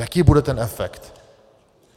Jaký bude ten efekt?